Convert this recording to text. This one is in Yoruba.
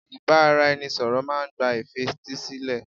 Ìbáraẹnisọ̀rọ̀ máà ń gba ìfetísílẹ̀.